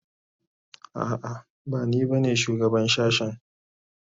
A'a bani ba ne shugaban shashen